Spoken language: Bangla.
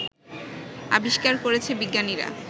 আবিষ্কার করেছে বিজ্ঞানীরা